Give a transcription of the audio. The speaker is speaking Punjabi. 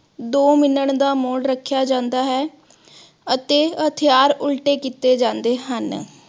ਦੋ minute ਦਾ ਮੋਨ ਰੱਖਿਆ ਜਾਂਦਾ ਹੈ ਅਤੇ ਹਥਿਆਰ ਉਲਟੇ ਕੀਤੇ ਜਾਂਦੇ ਹਨ।